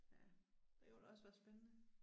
Det kunne da også være spændende